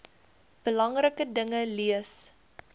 belangrike dinge leer